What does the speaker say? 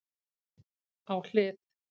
Á hlið